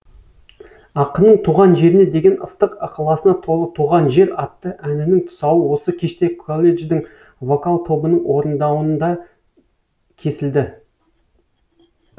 ақынның туған жеріне деген ыстық ықыласына толы туған жер атты әнінің тұсауы осы кеште колледждің вокал тобының орындауында кесілді